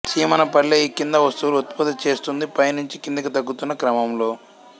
చీమనపల్లె ఈ కింది వస్తువులు ఉత్పత్తి చేస్తోంది పై నుంచి కిందికి తగ్గుతున్న క్రమంలో